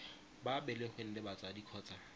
ba belegweng le batsadi kgotsa